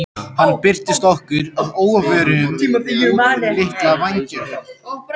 Hann birtist okkur að óvörum út um litla vængjahurð.